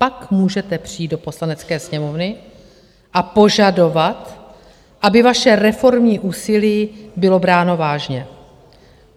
Pak můžete přijít do Poslanecké sněmovny a požadovat, aby vaše reformní úsilí bylo bráno vážně.